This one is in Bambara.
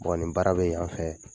Bon ni baara bɛ yan fɛ